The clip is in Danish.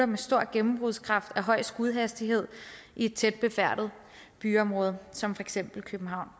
med stor gennembrudskraft og af høj skudhastighed i tæt befærdede byområder som for eksempel københavn